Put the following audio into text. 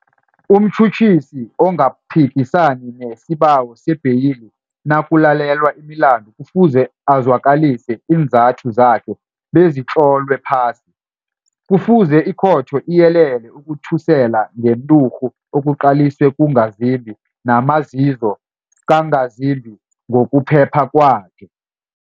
Umtjhutjhisi ongaphikisani nesibawo sebheyili nakulalelwa imilandu kufuze ezwakalise iinzathu zakhe bezitlolwe phasi. Kufuze ikhotho iyelele ukuthusela ngenturhu okuqaliswe kungazimbi namazizo kangazimbi ngokuphepha kwakhe.